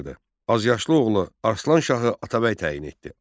Azyaslı oğlu Arslan Şahı Atabəy təyin etdi.